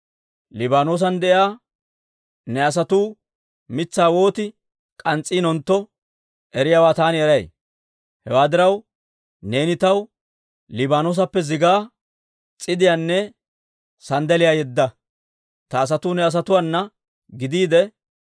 Liibaanoosan de'iyaa ne asatuu mitsaa woot k'ans's'intto eriyaawaa taani eray. Hewaa diraw, neeni taw Liibaanoosappe zigaa, s'idiyaanne sanddaliyaa yedda. Ta asatuu ne asatuwaana gidiide,